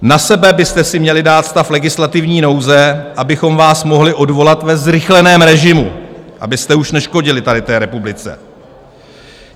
Na sebe byste si měli dát stav legislativní nouze, abychom vás mohli odvolat ve zrychleném režimu, abyste už neškodili tady té republice.